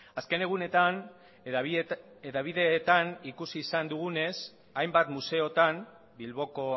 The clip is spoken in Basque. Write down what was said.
azken egunetan hedabideetan ikusi izan dugunez hainbat museotan bilboko